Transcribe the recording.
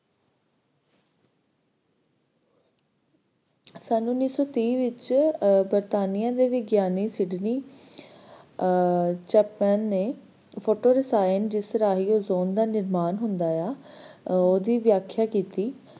ਸਨ ਉੱਨੀ ਸੌ ਤੀਹ ਵਿਚ cortania ਦੇ ਵਿਗਿਆਨੀ sydney japan, ਨੇ ਫੋਟੋ ਰਸਾਇਣ ਜਿਸ ਰਾਹੀਂ ozone ਦਾ ਨਿਰਮਾਣ ਹੁੰਦਾ ਆ, ਓਹਦੀ ਵਿਆਖਿਆ ਕੀਤੀ